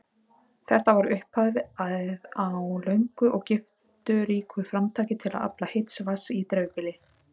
Þetta var upphafið á löngu og gifturíku framtaki til að afla heits vatns í dreifbýli.